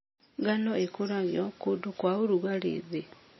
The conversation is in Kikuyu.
Ngano ĩkũragio kũndũ kwa ũrugarĩ thĩ.